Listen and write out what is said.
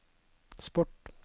sport